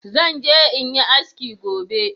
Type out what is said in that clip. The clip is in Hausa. Zan je in yi haski gobe